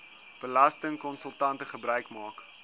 belastingkonsultante gebruik maak